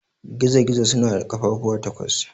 Gizo-gizo suna da ƙafafuwa takwas.